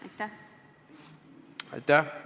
Aitäh!